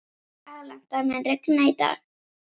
Alanta, mun rigna í dag?